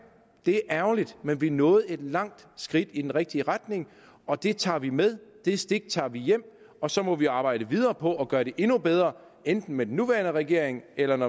det er ærgerligt men vi nåede et langt skridt i den rigtige retning og det tager vi med det stik tager vi hjem og så må vi arbejde videre på at gøre det endnu bedre sammen enten den nuværende regering eller en